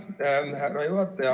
Aitäh, härra juhataja!